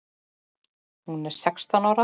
Hún er sextán ára.